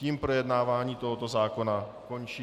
Tím projednávání tohoto zákona končí.